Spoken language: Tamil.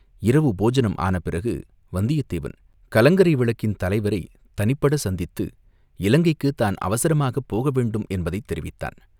இரவு போஜனம் ஆன பிறகு வந்தியத்தேவன், கலங்கரை விளக்கின் தலைவரைத் தனிப்படச் சந்தித்து இலங்கைக்குத் தான் அவசரமாகப் போக வேண்டும் என்பதைத் தெரிவித்தான்.